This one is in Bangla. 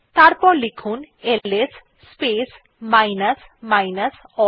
এরপর লিখুন L S space minus minus all